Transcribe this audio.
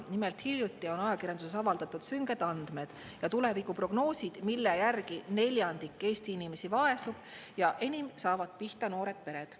Nimelt, hiljuti on ajakirjanduses avaldatud sünged andmed ja tulevikuprognoosid, mille järgi neljandik Eesti inimesi vaesub ja enim saavad pihta noored pered.